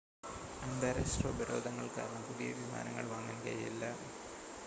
അന്താരാഷ്ട്ര ഉപരോധങ്ങൾ കാരണം പുതിയ വിമാനങ്ങൾ വാങ്ങാൻ കഴിയില്ല